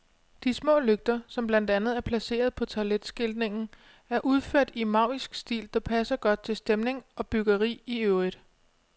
De små lygter, som blandt andet er placeret på toiletskiltningen, er udført i en maurisk stil, der passer godt til stemning og byggeri i øvrigt.